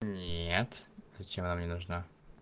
нет зачем она мне нужно